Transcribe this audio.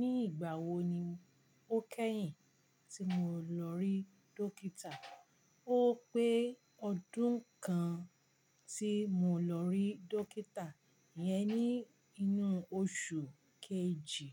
Ní ìgbà wo ni ó kẹ́yìn tí mo lọ rí dókítà? Ó pé ọdún kan tí mo lọ rí dókítà. Ìyẹn ní inú oṣù kejì